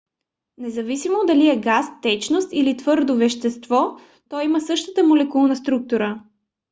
независимо дали е газ течност или твърдо вещество то има същата молекулна структура